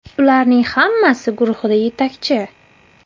Ularning hammasi guruhida yetakchi.